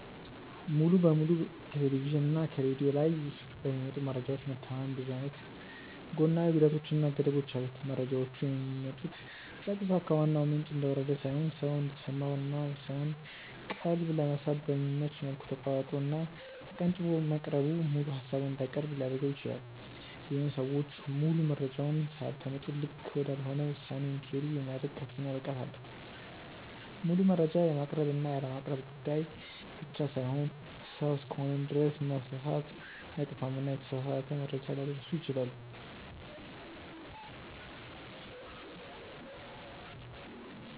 ሙሉ በሙሉ ከቴሌቭዥን እና ከሬድዮ ላይ በሚመጡ መረጃዎች መተማመን ብዙ አይነት ጎናዊ ጉዳቶች እና ገደቦች አሉት። መረጃዎቹ የሚመጡት ቀጥታ ከዋናው ምንጭ እንደወረደ ሳይሆን ሰው እንዲሰማው እና የሰውን ቀልብ ለመሳብ በሚመች መልኩ ተቆራርጦ እና ተቀንጭቦ መቅረቡ ሙሉ ሃሳቡን እንዳይቀርብ ሊያድርገው ይችላል። ይሄም ሰዎች ሙሉ መረጃውን ሳያደምጡ ልክ ወዳልሆነ ውሳኔ እንዲሄዱ የሚያደርግ ከፍተኛ ብቃት አለው። ሙሉ መረጃ የማቅረብ እና ያለማቅረብ ጉዳይ ብቻ ሳይሆን ሰው እስከሆንን ድረስ መሳሳት አይጠፋምና የተሳሳተ መረጃ ሊያደርሱ ይችላሉ።